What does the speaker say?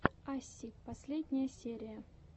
асси последняя серия